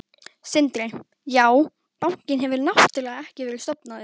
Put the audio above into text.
Sindri: Já, bankinn hefur náttúrulega ekki verið stofnaður?